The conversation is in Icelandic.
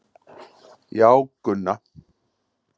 Já, Gunna.